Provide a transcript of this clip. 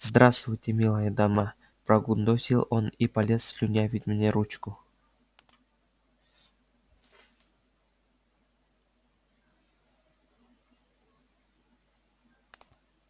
здравствуйте милая дама прогундосил он и полез слюнявить мне ручку